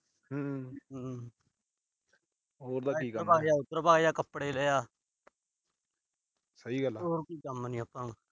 ਹਮ ਹਮ ਇਧਰ ਵਗ ਜਾ, ਉਧਰ ਜਾ, ਕੱਪੜੇ ਲੈ ਆ। ਹੋਰ ਕੋਈ ਕੰਮ ਨੀ ਆਪਾ ਨੂੰ।